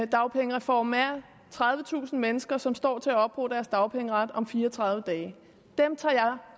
dagpengereformen er tredivetusind mennesker som står til at opbruge deres dagpengeret om fire og tredive dage dem tager